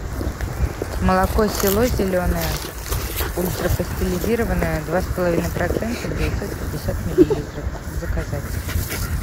молоко село зеленое ультрапастеризованное два с половиной процента девятьсот пятьдесят миллилитров заказать